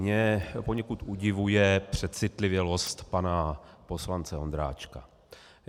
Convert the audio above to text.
Mě poněkud udivuje přecitlivělost pana poslance Ondráčka.